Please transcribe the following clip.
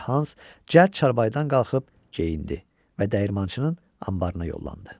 balaca Hans cəld çarpayıdan qalxıb geyindi və dəyirmançının anbarına yollandı.